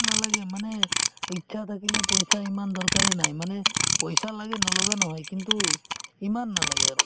নালাগে মানে ইচ্ছা থাকিলে পইচাৰ ইমান দৰকাৰে নাই মানে পইচা লাগে নলগা নহয় কিন্তু ইমান নালাগে আৰু